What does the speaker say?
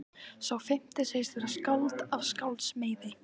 Sá fimmti segist vera skáld af skálds meiði.